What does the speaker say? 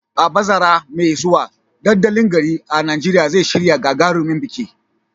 A bazara mai zuwa, dandalin garin a Najeriya zai shirya gagarumin biki